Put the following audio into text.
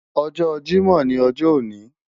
Ojo Jimo ni ojo oni